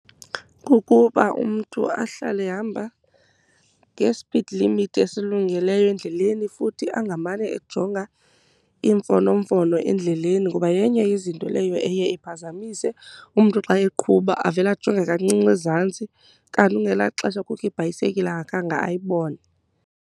Kukuba umntu ahlale ehamba ngespidi limithi esilungileyo endleleni futhi angamane ejonga imfonomfono endleleni, ngoba yenye yezinto leyo eye iphazamise. Umntu xa eqhuba avele ajonge kancinci ezantsi kanti ngelaa xesha kukho ibhayisekile angakhange ayibone.